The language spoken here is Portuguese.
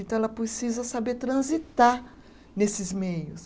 Então, ela precisa saber transitar nesses meios.